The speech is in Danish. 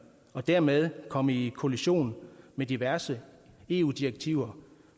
og dermed komme i kollision med diverse eu direktiver